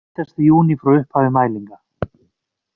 Heitasti júní frá upphafi mælinga